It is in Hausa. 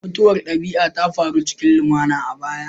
Mutuwar dabi'a ta faru cikin lumana a baya